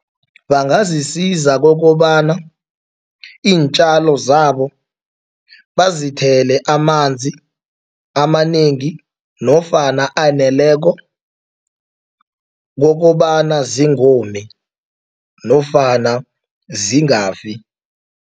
Bangazisiza kokobana iintjalo zabo bazithele amanzi amanengi nofana aneleko kokobana zingomi nofana zingafi.